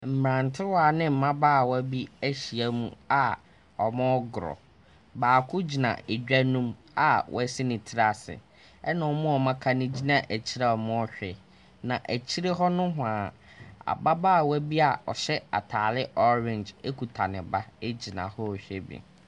Mmrantewaa ne mmabaawa bi ahyiam a wɔregoro. Baako gyina edwa no mu a wasi ne tiri ase ɛna wɔn a wɔaka no gyina akyire a wɔrehwɛ. Na akyire hɔ nohoaa ababaawa bi a ɔhyɛ ataare orange kuta ne ba gyina hɔ rehwɛ bi.